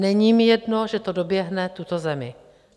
Není mi jedno, že to doběhne tuto zemi.